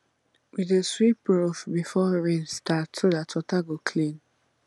we dey sweep roof before rain start so dat water go clean